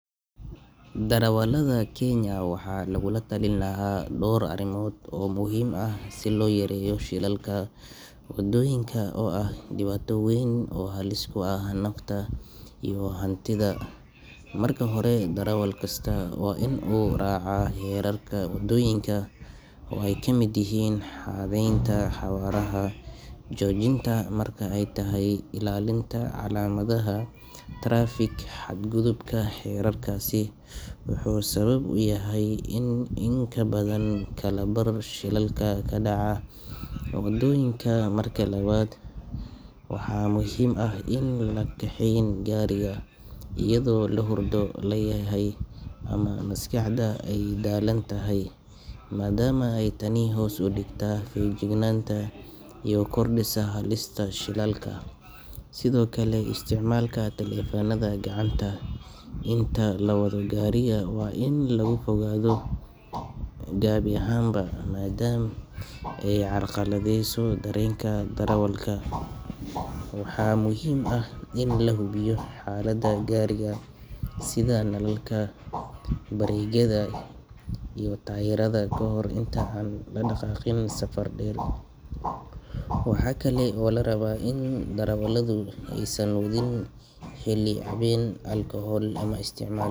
Darawaltha keenya waxa Laguna talin lahaa door arimoot muhim aah si loyareeyoh shelalaka , wadoyinka oobaah diwaato waweyn oo halis ku ah naftah iyo hantitha , marka hori darwalkasta wa in oo raca xerarka wadoyinka oo kameet yahin horeynta jojinta marka aytahay ilalinta calamadaha tarfekaa xadkuthubka waxu sawab u yahay in kabathan kalabar shelalaka kadacah, wadoyinka marka lawat waxa muhim aah Ina lakaxeyn kaarika eyado lahurdo laayahay amah masqaxdahbay dalantahay madama Taney hoos u digtah feejiknanata iyo kirdiska shelal halis aah sethokali isticmalka telephone natha ah inta lawathoh garrika ini lagafiogothoh kabi ahaanba madama ay carqalatheysoh dareenga darawalka waxa muhim aah in lahubiyoh xalda garika setha nalalka baregyada tayarda kahor Ina aa ladaqaqin safar dheer waxakali oo larabah in darawalada aysan watheen xeli haween alcohol amah isticmal.